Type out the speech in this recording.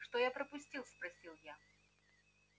что я пропустил спросил я